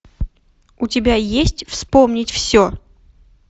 у тебя есть вспомнить все